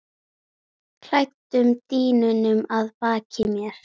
klæddum dýnunum að baki mér.